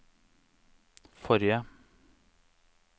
forrige